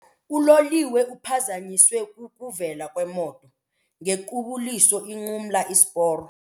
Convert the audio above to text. Uloliwe uphazanyiswe kukuvela kwemoto ngequbuliso inqumla isiporo.